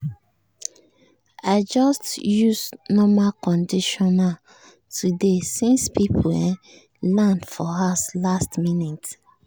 i just use normal conditioner today since people um land for house last minute.